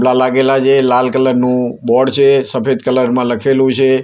લા લાગેલા છે લાલ કલર નું બોર્ડ છે સફેદ કલર માં લખેલું છે.